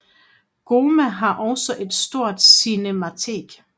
GOMA har også et stort cinematek